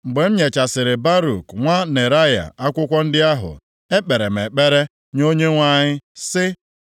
“Mgbe m nyechasịrị Baruk nwa Neraya akwụkwọ ndị ahụ, ekpere m ekpere nye Onyenwe anyị sị,